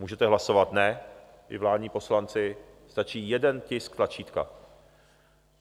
Můžete hlasovat ne, i vládní poslanci, stačí jeden tisk tlačítka.